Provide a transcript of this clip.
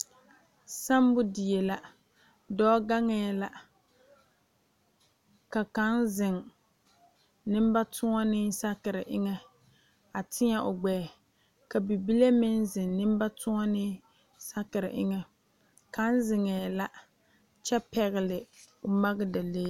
Sammo die la dɔɔ gaŋee la ka kaŋ zeŋ nembatoɔnee sakere eŋa a teɛ o gbɛɛ ka bibile meŋ zeŋ nembatoɔnee sakere eŋa kaŋ zeŋee la kyɛ pɛgele magedalee